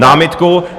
Námitku.